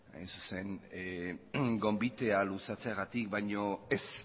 gonbitea luzatzeagatik baina ez